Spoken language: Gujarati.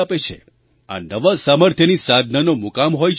આ નવા સામર્થ્યની સાધનાનો મુકામ હોય છે તહેવાર